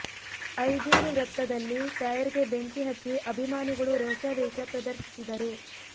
ಐಜೂರು ವೃತ್ತದಲ್ಲಿ ಟೈರ್ ಗೆ ಬೆಂಕಿ ಹಚ್ಚಿ ಅಭಿಮಾನಿಗಳು ರೋಷಾವೇಶ ಪ್ರದರ್ಶಿಸಿದರು